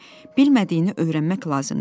Bilmədiyini öyrənmək lazımdır.